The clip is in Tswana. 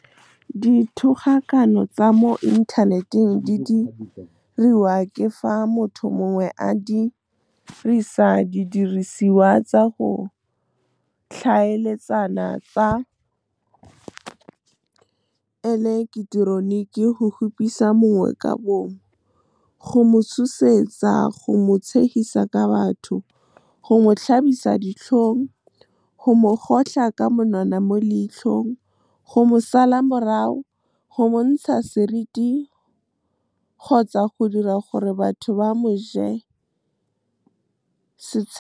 Dithogakano tsa mo inthaneteng di diriwa ke fa motho mongwe a dirisa didirisiwa tsa go tlhaeletsana tsa eleketeroniki go kgopisa mongwe ka bomo, go mo tshosetsa, go mo tshegisa ka batho, go mo tlhabisa ditlhong, go mo kgotlha ka monwana mo leitlhong, go mo sala morago, go mo ntsha seriti kgotsa go dira gore batho ba mo je setshego. Dithogakano tsa mo inthaneteng di diriwa ke fa motho mongwe a dirisa didirisiwa tsa go tlhaeletsana tsa eleketeroniki go kgopisa mongwe ka bomo, go mo tshosetsa, go mo tshegisa ka batho, go mo tlhabisa ditlhong, go mo kgotlha ka monwana mo leitlhong, go mo sala morago, go mo ntsha seriti kgotsa go dira gore batho ba mo je setshego.